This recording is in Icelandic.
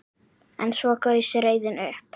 En svo gaus reiðin upp.